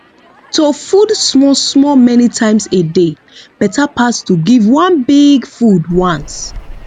to food small small many times a day better pass to give one big food once